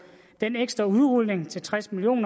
den ekstra udrulning til tres million